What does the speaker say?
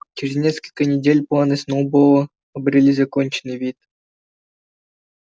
через несколько недель планы сноуболла обрели законченный вид